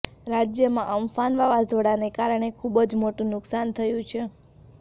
રાજ્યમાં અમ્ફાન વાવાઝોડાના કારણે ખુબ જ મોટું નુકસાન થયું છે